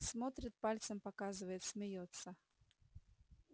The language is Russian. смотрит пальцем показывает смеётся